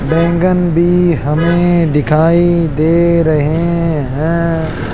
बैंगन भी हमें दिखाई दे रहे हैं।